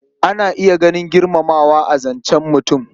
Ana iya ganin girmamawa a cikin zancen mutum.